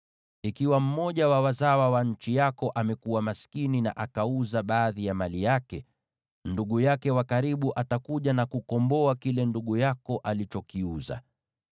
“ ‘Ikiwa mmoja wa wazawa wa nchi yako amekuwa maskini na akauza baadhi ya mali yake, ndugu yake wa karibu atakuja na kukomboa kile ndugu yako alichokiuza.